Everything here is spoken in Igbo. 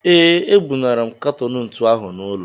Ee, ebunara m katọn ntu ahụ n'ụlọ